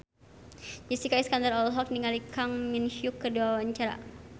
Jessica Iskandar olohok ningali Kang Min Hyuk keur diwawancara